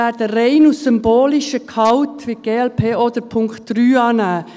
Aus rein symbolischem Gehalt wird die glp auch die Planungserklärung 3 annehmen.